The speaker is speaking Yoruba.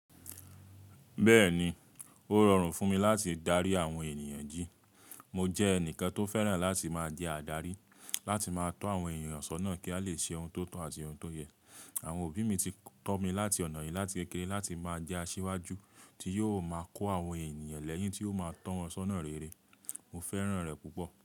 Bẹ́ẹ̀ni, ó rọrùn fún mi láti darí àwọn ènìyàn jí. Mo jẹ́ ẹnìkan tó fẹ́ràn láti máa jẹ́ adarí, láti máa tọ́ àwọn ènìyàn ṣọ́nà kí a lè ṣe ohun tó tọ́ àti ohun tó yẹ. Àwọn òbí mi ti kọ́ mi láti ọ̀nà yìí láti kékeré láti máa jẹ́ asíwájú tí yóò máa kó àwọn ènìyàn lẹ́yìn tí ó máa tọ́ wọn ṣọ́nà rere. Mo fẹ́ràn rẹ̀ púpọ̀